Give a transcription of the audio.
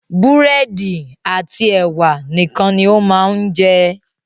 Búrẹ́dì àti ẹ̀wà nìkan ni ó máa ń jẹ.